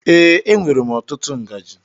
Ee, enwèrè m ọtụtụ ngaji.